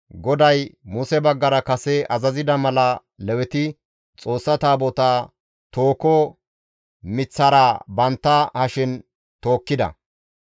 GODAY Muse baggara kase azazida mala Leweti Xoossa Taabotaa tooho miththara bantta hashen tookkida.